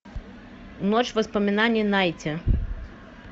ночь воспоминаний найти